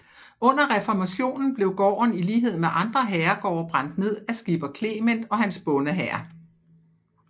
Under reformationen blev gården i lighed med andre herregårde brændt ned af skipper Clement og hans bondehær